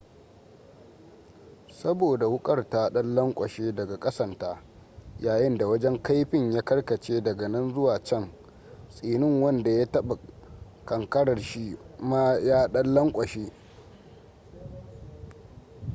saboda wukar ta dan lankwashe daga kasanta yayinda wajen kaifin ya karkace dag nan zuwa can tsinin wanda ya taba kankarar shi ma ya dan lankwashe